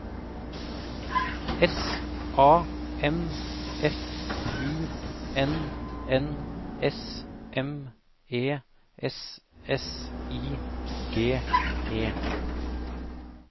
S A M F U N N S M E S S I G E